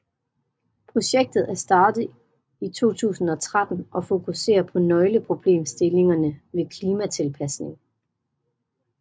Projektet er startet i 2013 og fokuserer på nøgleproblemstillingerne ved klimatilpasning